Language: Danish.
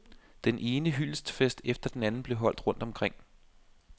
Den ene hyldestfest efter den anden blev holdt rundt omkring.